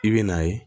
I bɛ n'a ye